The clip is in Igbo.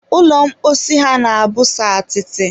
ụlọ mposi ha na-abụ sọ atịtị